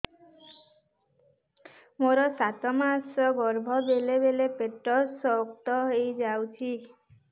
ମୋର ସାତ ମାସ ଗର୍ଭ ବେଳେ ବେଳେ ପେଟ ଶକ୍ତ ହେଇଯାଉଛି